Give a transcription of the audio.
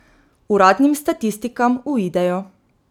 Uradnim statistikam uidejo.